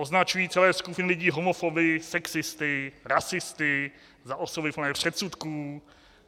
Označují celé skupiny lidí homofoby, sexisty, rasisty, za osoby plné předsudků.